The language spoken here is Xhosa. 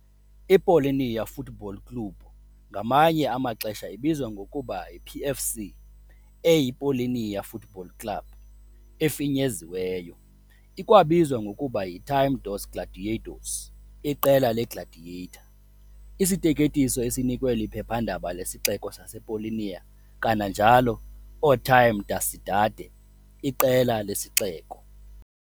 I-Paulínia Futebol Clube ngamanye amaxesha ibizwa ngokuba yi-PFC, eyi "Paulínia Futebol Clube" efinyeziweyo. Ikwabizwa ngokuba yi "Time dos Gladiadores", Iqela leGladiator, isiteketiso esinikwe liphephandaba lesixeko sasePaulínia, kananjalo "o Time da cidade", iqela lesixeko.